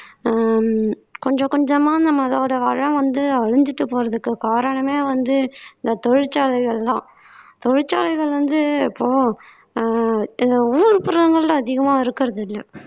ஆஹ் கொஞ்சம் கொஞ்சமா நம்மளோட வளம் வந்து அழிஞ்சுட்டு போறதுக்கு காரணமே வந்து இந்த தொழிற்சாலைகள்தான் தொழிற்சாலைகள் வந்து இப்போ அஹ் எங்க ஊர்புறங்கள்ல அதிகமா இருக்கிறது இல்ல